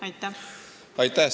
Aitäh!